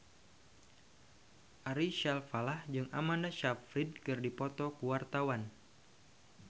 Ari Alfalah jeung Amanda Sayfried keur dipoto ku wartawan